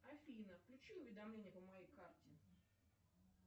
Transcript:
афина включи уведомления по моей карте